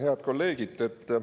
Head kolleegid!